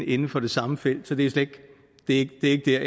inden for det samme felt så det er ikke